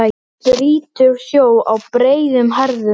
Brýtur sjó á breiðum herðum.